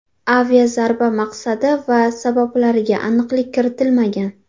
Aviazarba maqsadi va sabablariga aniqlik kiritilmagan.